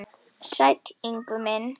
Sæll Ingvi minn.